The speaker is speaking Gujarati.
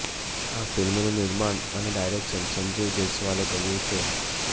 આ ફિલ્મનું નિર્માણ અને ડાયરેક્શન સંજીવ જયસ્વાલે કર્યું છે